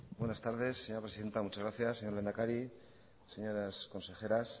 buenas tardes señora presidenta muchas gracias señor lehendakari señoras consejeras